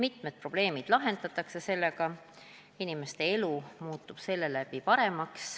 Sellega lahendatakse mitmed probleemid ja inimeste elu muutub seeläbi paremaks.